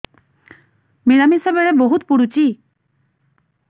ମିଳାମିଶା ବେଳେ ବହୁତ ପୁଡୁଚି